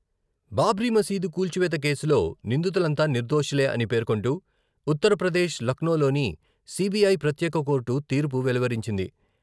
బాబ్రీ మసీదు కూల్చివేత కేసులో నిందితులంతా నిర్దోషులే అని పేర్కొంటూ ఉత్తరప్రదేశ్ లక్నోలోని సీబీఐ ప్రత్యేక కోర్టు తీర్పు వెలువరించింది.